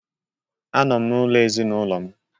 Anọ m n'ụlọ ezinaụlọ m